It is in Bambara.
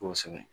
Kosɛbɛ